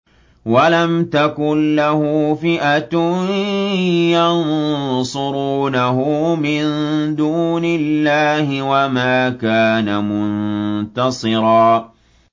وَلَمْ تَكُن لَّهُ فِئَةٌ يَنصُرُونَهُ مِن دُونِ اللَّهِ وَمَا كَانَ مُنتَصِرًا